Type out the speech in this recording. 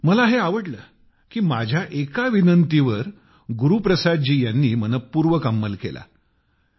पण मला हे आवडले की माझ्या एका विनंतीवर गुरु प्रसाद जी यांनी मनःपूर्वक अंमल केला